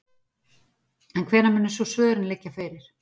En hvenær munu svo svörin liggja fyrir?